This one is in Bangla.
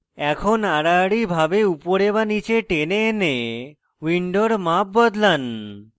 এখন আড়াআড়ি ভাবে উপরে বা নীচে টেনে এনে window মাপ বদলান